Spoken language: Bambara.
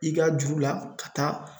I ka juru la, ka taa